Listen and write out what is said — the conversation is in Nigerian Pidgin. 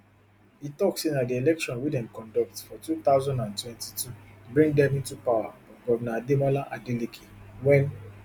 e tok say na di election wey dem conduct for two thousand and twenty-two bring dem into power but govnor ademola adeleke wen